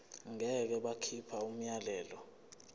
ngeke bakhipha umyalelo